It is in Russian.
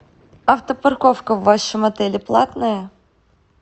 автопарковка в вашем отеле платная